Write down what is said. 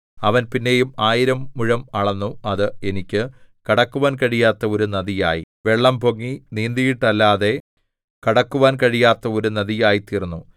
അവൻ പിന്നെയും ആയിരം മുഴം അളന്നു അത് എനിക്ക് കടക്കുവാൻ കഴിയാത്ത ഒരു നദിയായി വെള്ളം പൊങ്ങി നീന്തിയിട്ടല്ലാതെ കടക്കുവാൻ കഴിയാത്ത ഒരു നദിയായിത്തീർന്നു